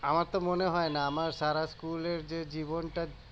আমার তো মনে হয় না আমার সারা স্কুলের যে জীবনটা